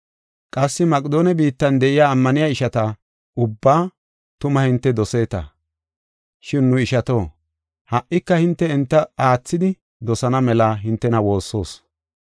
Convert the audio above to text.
Qassi Maqedoone biittan de7iya ammaniya ishata ubbaa tuma hinte doseeta. Shin nu ishato, ha77ika hinte enta aathidi dosana mela hintena woossoos.